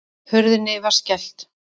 Hurðinni var skellt.